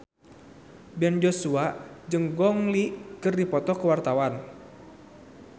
Ben Joshua jeung Gong Li keur dipoto ku wartawan